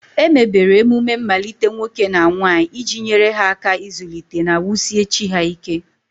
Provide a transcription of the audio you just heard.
Emebere emume mmalite nwoke na nwanyị iji nyere ha aka ịzụlite na wusie chi ha ike.